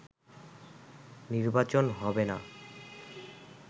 নির্বাচন হবে না